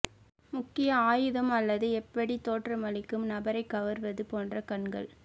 முக்கிய ஆயுதம் அல்லது எப்படி தோற்றமளிக்கும் நபரைக் கவர்வது போன்ற கண்கள்